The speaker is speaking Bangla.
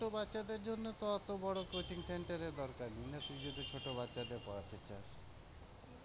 ছোট ছোট বাচ্ছাদের জন্য তো অতো বড় coaching center এর দরকার নেই।